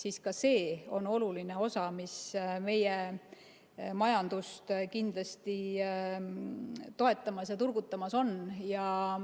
Aga ka see on oluline osa, mis meie majandust kindlasti toetamas ja turgutamas on.